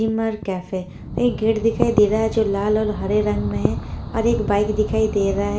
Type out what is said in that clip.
ईमर cafe एक gate दिखाई दे रहा है जो लाल और हरे रंग में हैं और एक बाइक दिखाई दे रहा है।